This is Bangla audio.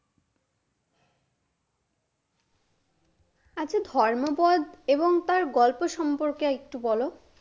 আচ্ছা ধর্মপদ এবং তার গল্প সম্পর্কে একটু বলো?